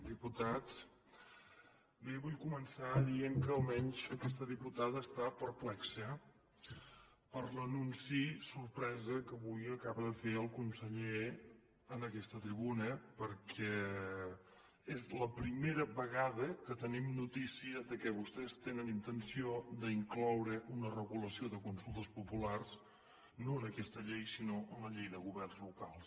diputats bé vull començar dient que almenys aquesta diputada està perplexa per l’anunci sorpresa que avui acaba de fer el conseller en aquesta tribuna perquè és la primera vegada que tenim notícia que vostès tenen intenció d’incloure una regulació de consultes populars no en aquesta llei sinó en la llei de governs locals